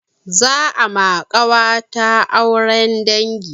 Za a ma ƙawata auren dangi.